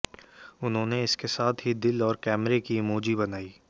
उन्होंने इसके साथ ही दिल और कैमरे की इमोजी बनाई